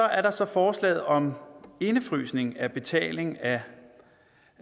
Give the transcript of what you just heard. er der så forslaget om indefrysning af betaling af